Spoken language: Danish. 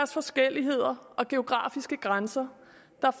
forskelligheder og geografiske grænser